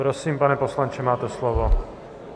Prosím, pane poslanče, máte slovo.